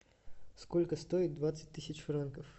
сколько стоит двадцать тысяч франков